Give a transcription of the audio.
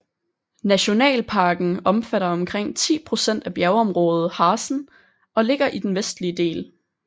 Nationalparken omfatter omkring 10 procent af bjergområdet Harzen og ligger i den vestlige del